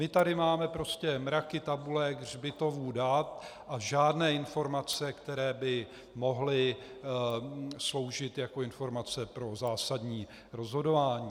My tady máme prostě mraky tabulek, hřbitovů dat a žádné informace, které by mohly sloužit jako informace pro zásadní rozhodování.